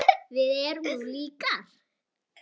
Við erum nú líkar!